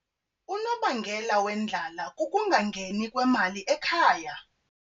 Unobangela wendlala kukungangeni kwemali ekhaya.